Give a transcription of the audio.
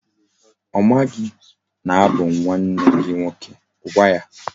O maghi na abu m nwanne gi nwoke. Gwa ya!